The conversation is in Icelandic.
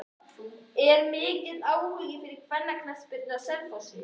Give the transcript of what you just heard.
Er mikill áhugi fyrir kvennaknattspyrnu á Selfossi?